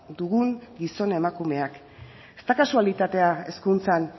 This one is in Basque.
dugun gizon emakumeak ez da kasualitatea hezkuntzan